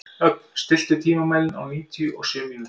Ögn, stilltu tímamælinn á níutíu og sjö mínútur.